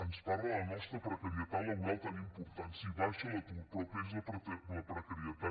ens parla de la nostra precarietat laboral tan important sí baixa l’atur però creix la precarietat